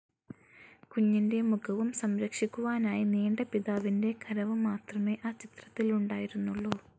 കുഞ്ഞിന്റെ മുഖവും സം‌രക്ഷിക്കുവാനായി നീണ്ട പിതാവിന്റെ കരവും മാത്രമേ ആ ചിത്രത്തിൽ ഉണ്ടായിരുന്നുള്ളൂ.